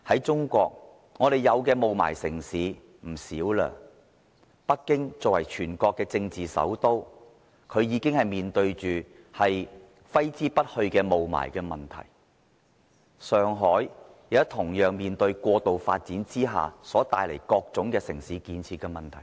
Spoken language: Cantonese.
中國有不少霧霾城市，而作為全國政治首都的北京，已經面對揮之不去的霧霾問題；上海現時同樣面對過度發展之下所帶來各種城市建設的問題。